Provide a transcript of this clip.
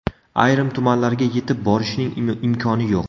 Ayrim tumanlarga yetib borishning imkoni yo‘q.